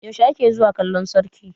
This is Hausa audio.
yaushe ake zuwa kallon sarki?